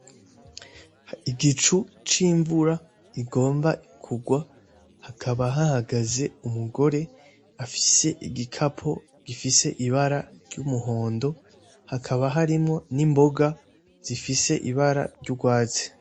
Igicu c’imvura igomba kugwa hakaba hahagaze umugore afise igikapu gifise amabara y’umuhondo hakaba harimwo n’imboga zifise ibara ry’urwatsi.